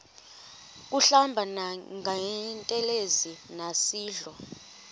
kuhlamba ngantelezi nasidlo